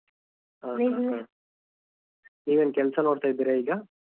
ಹ ನೀವೇನ್ ಕೆಲಸ ನೋಡ್ತಿದ್ರಾ ಈಗ?